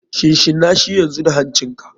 Shinshinashi yanzu da hancin ka.